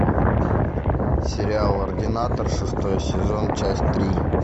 сериал ординатор шестой сезон часть три